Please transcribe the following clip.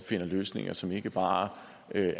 finder løsninger som ikke bare